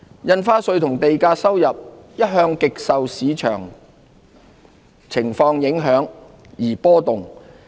印花稅和地價收入一向極受市況影響而波動。